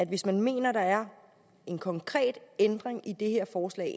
hvis man mener at der er en konkret ændring i det her forslag